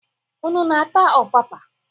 Unu na-ata ọpapa?